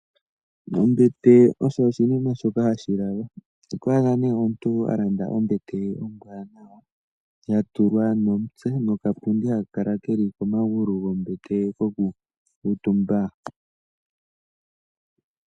Ombete osho oshinima shoka hashi lalwa, otwaadha née omuntu alanda ombete ye ombwaanawa yatulwa momutse nokapundi keli komagulu gombete kokukutumbwa.